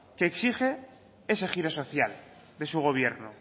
que exige ese giro social de su gobierno